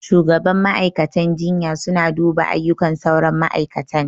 Shugaban ma'aikatan jinya suna duba aiyukan sauran ma'aikatan